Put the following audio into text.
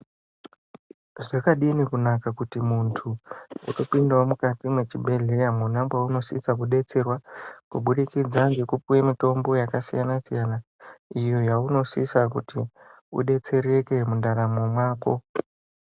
Zvakadini kunaka kuti muntu wotopindawo mukati mwechibhedhleya mwona mwaunosvitsa kudetserwa kubudikidza ngekupuwe mitombo yakasinasiyana iyo yaunosisa kuti udetsereke mundaramo mwako.